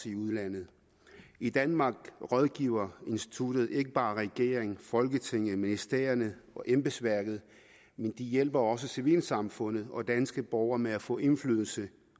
i udlandet i danmark rådgiver instituttet ikke bare regeringen folketinget ministerierne og embedsværket de hjælper også civilsamfundet og danske borgere med at få indflydelse